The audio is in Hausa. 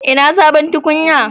Ina sabon tukunyan?